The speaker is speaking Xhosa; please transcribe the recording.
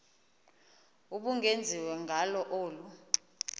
ubungenziwa ngalo olu